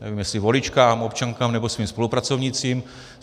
Nevím, jestli voličkám, občankám nebo svým spolupracovnicích.